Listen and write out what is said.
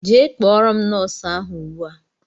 Jee kpọrọ m nóósu ahụ ùgbúà!!!!